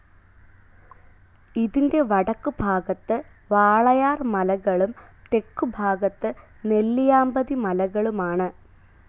ഇതിന്റെ വടക്കുഭാഗത്ത് വാളയാർ മലകളും തെക്കുഭാഗത്ത് നെല്ലിയാമ്പതി മലകളുമാണ്.